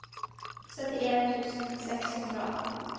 syttien tusen seks hundre og atten